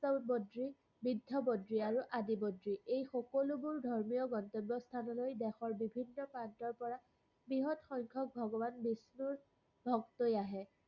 বৃদ্ধ বদ্ৰী, আৰু আদি বদ্ৰী। এইসকলোবোৰ দেৱস্থানলৈ দেশৰ বিভিন্ন স্থানৰ প্ৰান্তৰপৰা বৃহৎ সংখ্যক ভগবান বিষ্ণুৰ ভক্তই আহে।